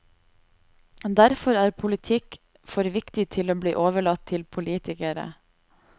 Derfor er politikk for viktig til å bli overlatt til politikere.